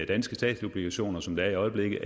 danske statsobligationer som det er i øjeblikket